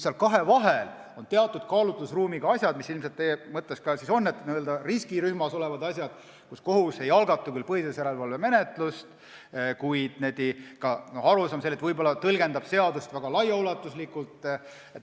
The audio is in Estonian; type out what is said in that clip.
Seal kahe vahel on teatud kaalutlusruumiga asjad, mis ilmselt teie mõtetes praegu ongi, n-ö riskirühmas olevad asjad, kus kohus ei algata küll põhiseaduslikkuse järelevalve menetlust, kuid võib-olla tõlgendab seadust laialt.